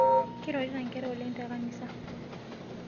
Keirorita nkera oleng tenkanisa